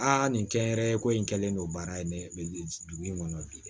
Aa nin kɛnyɛrɛye ko in kɛlen don baara in ne dugu in kɔnɔ bi